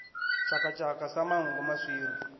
tshaka tshaka sa manngo maswiri